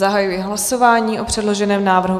Zahajuji hlasování o předloženém návrhu.